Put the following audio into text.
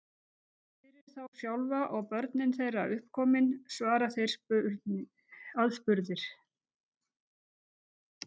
Fyrir þá sjálfa, og börnin þeirra uppkomin, svara þeir aðspurðir.